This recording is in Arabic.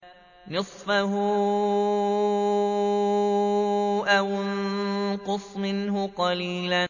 نِّصْفَهُ أَوِ انقُصْ مِنْهُ قَلِيلًا